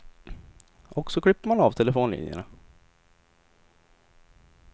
Och så klipper man av telefonlinjerna.